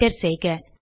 enter செய்க